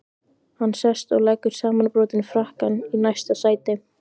Hann sest og leggur samanbrotinn frakkann í næsta sæti.